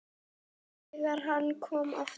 ÞEGAR HANN KOM AFTUR